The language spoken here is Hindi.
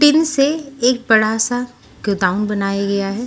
टीन से एक बड़ा सा गोडाउन बनाया गया है।